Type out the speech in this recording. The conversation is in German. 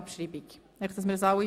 – Das ist der Fall.